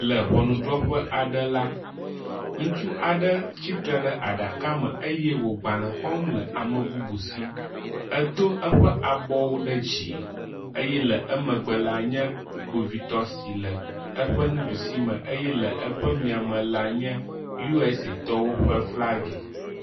Le ʋɔnuɖrɔƒe aɖe la, ŋutsu aɖe tsitre ɖe aɖaka me eye wo gbalẽ xɔm le amebubu si, edo eƒe abɔwo ɖe dzi eye le emegbe la nye kpovitɔ si le eƒe nuɖusi me eye le eƒe mía me la nye U.S. A tɔwo ƒe flagi.